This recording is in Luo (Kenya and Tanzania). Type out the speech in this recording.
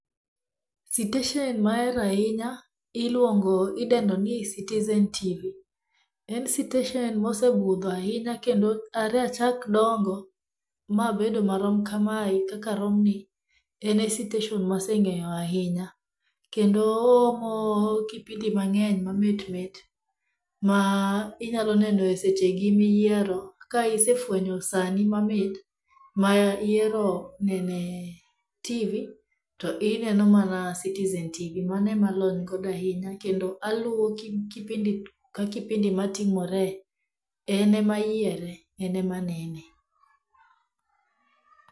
Siteshen ma ahero ahinya, iluongo idendo ni citizen TV, en siteshen ma osebudho ahinya kendoi are achak dongo, mabedo marom kamae kaka aromni, ene siteshen maseng'eyo ahinya, kendo oomo kipindi mang'eny mamitmit, ma inyaloneno e sechegi miyiero ka isefwenyo sani mamit ma ihero nene TV, to ineno mana citizen TV manoemalony godo ahinya kendo aluwo kipindi ka kipindi matimore, enemayiere, enemanene.